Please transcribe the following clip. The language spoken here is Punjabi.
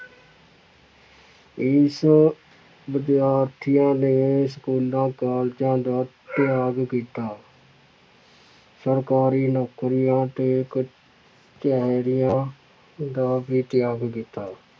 ਇਸ ਵਿਦਿਆਰਥੀਆਂ ਨੇ ਸਕੂਲਾਂ ਕਾਲਜਾਂ ਦਾ ਤਿਆਗ ਕੀਤਾ ਸਰਕਾਰੀ ਨੌਕਰੀਆਂ ਤੇ ਕਚਿਹਰੀਆਂ ਦਾ ਵੀ ਤਿਆਗ ਕੀਤਾ।